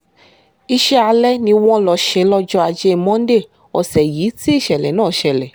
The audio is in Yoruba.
iṣẹ́ alẹ́ ni wọ́n lọ ṣe lọ́jọ́ ajé monde ọ̀sẹ̀ yìí tí ìṣẹ̀lẹ̀ náà ṣẹlẹ̀